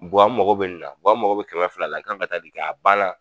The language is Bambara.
Buwa n mago bɛ nin na buwa n mago bɛ kɛmɛ fila la n kan ka taa nin kɛ a banna.